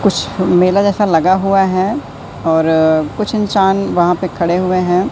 कुछ मेला जैसा लगा हुआ है और कुछ इंसान वहां पे खड़े हुए है।